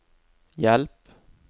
hjelp